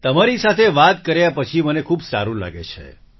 તમારી સાથે વાત કર્યા પછી મને ખૂબ સારું લાગે છે